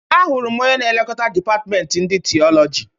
Ahụrụ m onye na e lekota dịpatment ndi Tịọlọgi.